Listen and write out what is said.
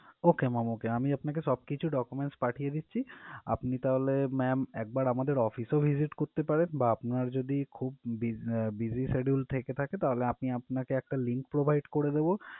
Okay ma'am okay আমি আমি আপনাকে সবকিছুই document পাঠিয়ে দিচ্ছি আপনি তাহলে ma'am একবার আমাদের office এ ও visit করতে পারেন বা আপনার যদি খুব be~ busy schedule থেকে থাকে তাহলে আপনি আপনাকে একটা link provide করে দেবো